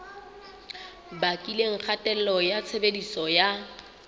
bakileng kgatello ya tshebediso ya